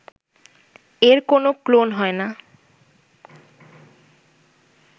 এর কোন ক্লোন হয় না